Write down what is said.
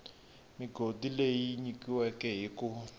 migodi leyi nyikiweke hi ku